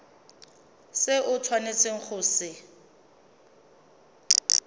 se o tshwanetseng go se